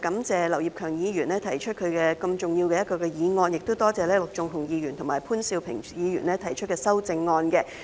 主席，我首先感謝劉業強議員提出一項如此重要的議案，也多謝陸頌雄議員和潘兆平議員提出修正案。